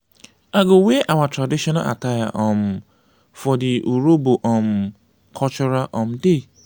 i go wear our traditional attire um for di urhobo um cultural um day.